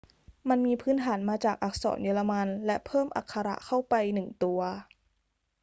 มันมีพื้นฐานมาจากอักษรเยอรมันและเพิ่มอักขระ õ/õ เข้าไปหนึ่งตัว